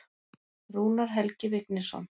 Rúnar Helgi Vignisson.